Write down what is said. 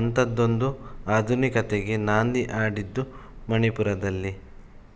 ಅಂಥದ್ದೊಂದು ಆಧುನಿಕತೆಗೆ ನಾಂದಿ ಹಾಡಿದ್ದು ಮಣಿಪುರದಲ್ಲಿ